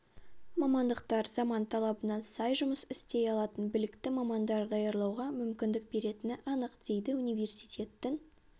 мамандықтар заман талабына сай жұмыс істей алатын білікті мамандар даярлауға мүмкіндік беретіні анық дейді университеттің